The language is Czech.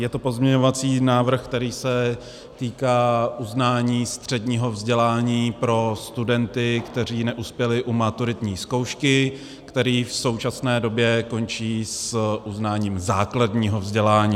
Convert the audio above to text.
Je to pozměňovací návrh, který se týká uznání středního vzdělání pro studenty, kteří neuspěli u maturitní zkoušky, kteří v současné době končí s uznáním základního vzdělání.